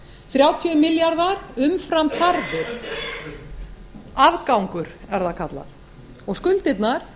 þrjátíu milljarðar umfram þarfir afgangur er það kallað og skuldirnar